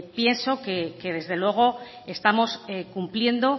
pienso que desde luego estamos cumpliendo